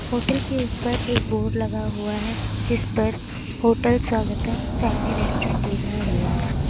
Hotel के ऊपर एक बोर्ड लगा हुआ है जिस पर होटल स्वागतम फैमिली रेस्टोरेंट लिखा हुआ है।